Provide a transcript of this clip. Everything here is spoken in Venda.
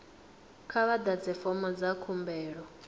kha vha ḓadze fomo dza khumbelo